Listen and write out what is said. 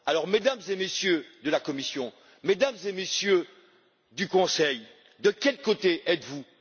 Mesdames et Messieurs de la Commission, Mesdames et Messieurs du Conseil, de quel côté êtes vous?